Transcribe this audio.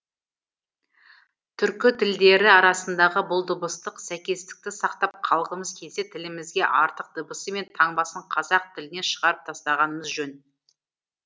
түркі тілдері арасындағы бұл дыбыстық сәйкестікті сақтап қалғымыз келсе тілімізге артық дыбысы мен таңбасын қазақ тілінен шығарып тастағанымыз жөн